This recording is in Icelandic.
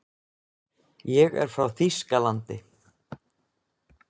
Ég er frá Þýskalandi.